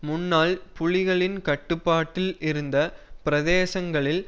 முன்னாள் புலிகளின் கட்டுப்பாட்டில் இருந்த பிரதேசங்களில்